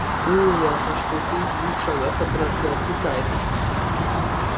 было ясно что ты в двух шагах от разгадки тайны